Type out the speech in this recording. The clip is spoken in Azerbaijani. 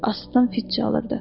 Asıdan fit çalırdı.